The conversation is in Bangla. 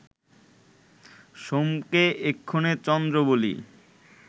সোমকে এক্ষণে চন্দ্র বলি